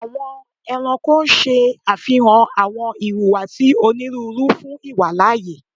Awọn ẹranko ṣe afihan awọn ihuwasi oniruuru fun iwalaaye